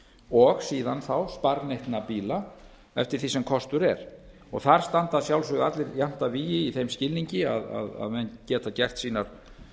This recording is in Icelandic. og síðan þá sparneytna bíla eftir því sem kostur er þar standa að sjálfsögðu allir jafn að vígi í þeim skilningi að menn geta